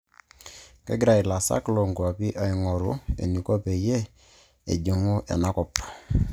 Kegira ilaisikak loo nkuapi aing'oru eniko peyie ejing'u ena kop